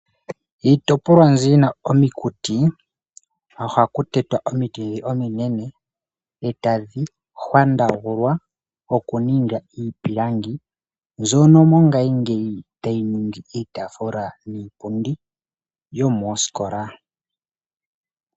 Iitopolwa mbyono yi na omakuti, oha ku tetwa omiti ndhi ominene eta dhi hwandagulwa oku ningwa iipilangi mbyono mongashingeyi ta yi ningwa iitafula niipundi yomoskola.